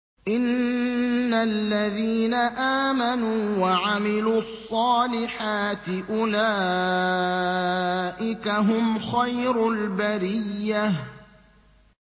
إِنَّ الَّذِينَ آمَنُوا وَعَمِلُوا الصَّالِحَاتِ أُولَٰئِكَ هُمْ خَيْرُ الْبَرِيَّةِ